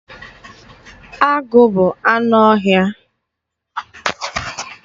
Agụ bụ anụ ọhịa.